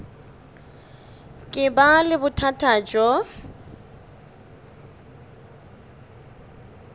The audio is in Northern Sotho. ka ba le bothata bjo